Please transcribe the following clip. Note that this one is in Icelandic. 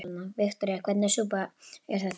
Viktoría: Hvernig súpa er þetta?